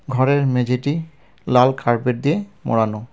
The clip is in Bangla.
ঘরের মেঝেটি লাল কার্পেট দিয়ে মোড়ানো .